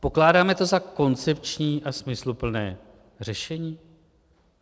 Pokládáme to za koncepční a smysluplné řešení?